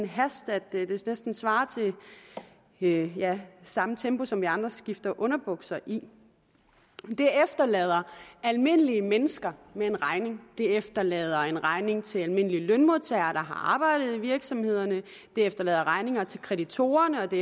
hast at det næsten svarer til ja ja samme tempo som vi andre skifter underbukser i det efterlader almindelige mennesker med en regning det efterlader en regning til almindelige lønmodtagere der har arbejdet i virksomhederne det efterlader regninger til kreditorerne og det